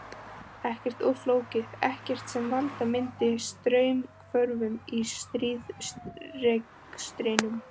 Ekkert of flókið, ekkert sem valda myndi straumhvörfum í stríðsrekstrinum.